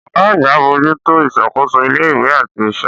Ọ̀gá àgbà ń bójú tó ìṣàkóso ilé-ìwé àti iṣẹ́.